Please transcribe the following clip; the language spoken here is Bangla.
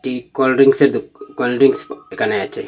ই কোলড্রিংকসের দোক কোলড্রিংকস প এখানে আছে।